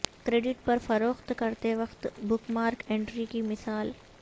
credit پر فروخت کرتے وقت بک مارک انٹری کی مثال